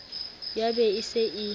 ya be e se e